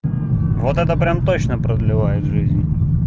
вот это прям точно продлевает жизнь